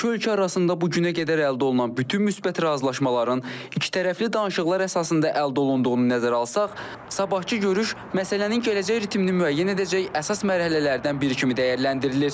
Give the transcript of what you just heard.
İki ölkə arasında bu günə qədər əldə olunan bütün müsbət razılaşmaların ikitərəfli danışıqlar əsasında əldə olunduğunu nəzərə alsaq, sabahkı görüş məsələnin gələcək ritmini müəyyən edəcək əsas mərhələlərdən biri kimi dəyərləndirilir.